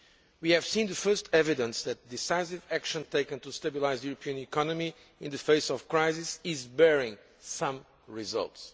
We have seen the first evidence that decisive action taken to stabilise the European economy in the face of crisis is bearing some results.